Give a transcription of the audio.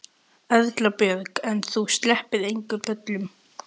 Erla Björg: En þú sleppir engum böllum?